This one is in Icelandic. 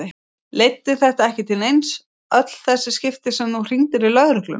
Leiddi þetta ekki til neins, öll þessi skipti sem þú hringdir í lögregluna?